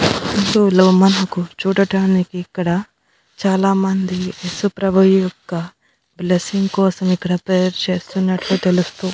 మనకు చూడటానికి ఇక్కడ చాలామంది ఏసుప్రభు యొక్క బ్లెస్సింగ్ కోసం ఇక్కడ ప్రేయర్ చేస్తున్నట్టు తెలుస్తూ--